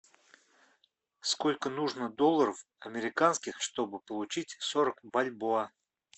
сколько нужно долларов американских чтобы получить сорок бальбоа